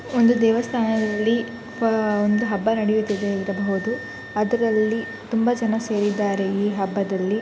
ಒಂದು ದೇವಸ್ಥಾನ ಇಲ್ಲಿ ಆ ಒಂದು ಹಬ್ಬ ನಡಿತ್ತ ಇದೆ ಅಂತ ಹೇಳಬಹುದು ಅದರಲ್ಲಿ ತುಂಬಾ ಜನ ಸೇರಿದ್ದಾರೆ ಈ ಹಬ್ಬದಲ್ಲಿ.